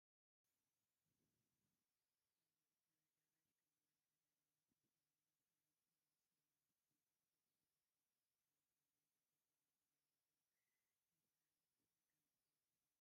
ኣብ መኣከቢ ኣዳራሽ ካብ መራሕቲ ሃይማኖት ይኹኑ ካብ ተራ ሰባት ዝተውፃዕፅኡ ብዙሓት ተኣኪቦም ኣለዉ ጠጠው ኢሎም እዮም ዘለዉ ፡ እንታይ ዝገብሩ ዘለዉ ይመስል ?